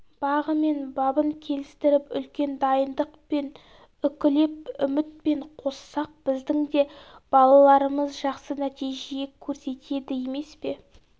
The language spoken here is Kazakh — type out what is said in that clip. бағы мен бабын келістіріп үлкен дайындықпен үкілеп үмітпен қоссақ біздің де балаларымыз жақсы нәтиже көрсетеді емес пе